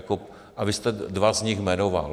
A vy jste dva z nich jmenoval.